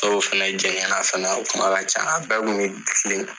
Dɔw fana jɛgɛn fana, o kuma ka ca, a bɛɛ kun mi kilen .